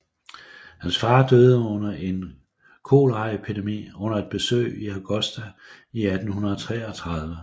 Hans far døde under en koleraepidemi under et besøg i Augusta i 1833